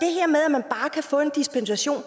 få en dispensation